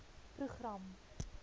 program